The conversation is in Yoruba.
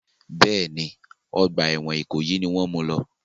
Bẹ́ẹ̀ni, ọgbà ẹ̀wọ̀n Ìkòyí mú u lọ.